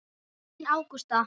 Þín Ágústa.